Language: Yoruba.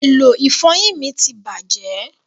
èló ifoyin mí tí bàjé